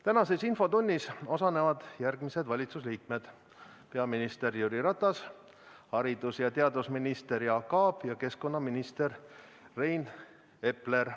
Tänases infotunnis osalevad järgmised valitsuse liikmed: peaminister Jüri Ratas, haridus- ja teadusminister Jaak Aab ja keskkonnaminister Rain Epler.